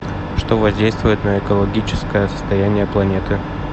что воздействует на экологическое состояние планеты